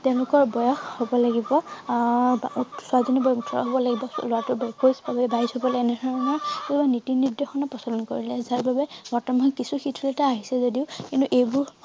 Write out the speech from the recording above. তেওঁলোকৰ বয়স হব লাগিব আহ ছোৱালী জনীৰ বয়স ওঠৰ হব লাগিব লৰাটোৰ বয়স একৈছ বা বাইছ হবলে বা এনেধৰণৰ নীতি নিৰ্দশনা প্ৰচলন কৰিলে যাৰ বাবে বৰ্তমান কিছু শিথিলতা আহিছে যদিও কিন্তু এইবোৰ